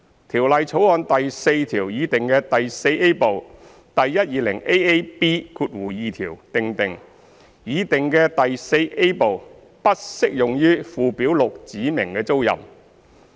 《條例草案》第4條擬訂的第 IVA 部第 120AAB2 條訂定，擬訂的第 IVA 部不適用於附表6指明的租賃。